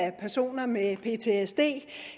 af personer med ptsd